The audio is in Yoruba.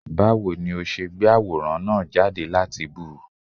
Báwo ni ó ṣe gbé àwòrán náà jáde láti bú ú?